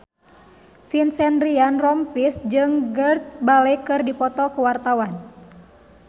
Vincent Ryan Rompies jeung Gareth Bale keur dipoto ku wartawan